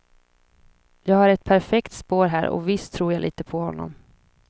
Jag har ett perfekt spår här och visst tror jag lite på honom.